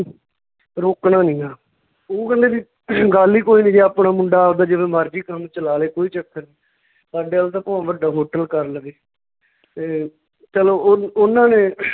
ਰੋਕਣਾ ਨੀ ਗਾ ਓਹ ਕਹਿੰਦੇ ਵੀ ਗੱਲ ਹੀ ਕੋਈ ਨੀ ਜੇ ਆਪਣਾ ਮੁੰਡਾ ਆਵਦਾ ਜਿਵੇਂ ਮਰਜੀ ਕੰਮ ਚਲਾ ਲਏ ਕੋਈ ਚੱਕਰ ਸਾਡੇ ਅੱਲ ਤਾਂ ਭਾਵੇਂ ਵੱਡਾ hotel ਕਰ ਲਵੇ ਤੇ ਚਲੋ ਉਹ ਉਹਨਾਂ ਨੇ